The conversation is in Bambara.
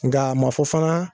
Nka a ma fɔ fana